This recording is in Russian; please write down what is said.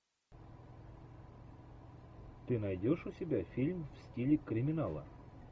ты найдешь у себя фильм в стиле криминала